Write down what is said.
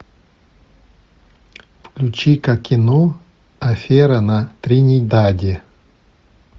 включи ка кино афера на тринидаде